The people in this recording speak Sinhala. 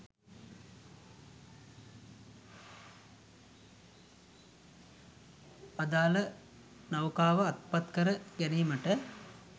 අදාල නෞකාව අත්පත්කර ගැනීමට